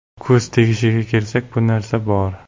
Ko‘z tegishiga kelsak, bu narsa bor.